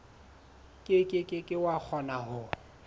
ke ke wa kgona ho